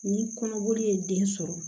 Ni kɔnɔboli ye den sɔrɔ